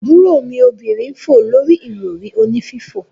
Aburo mi obinrin n fo lori irori oni fifo.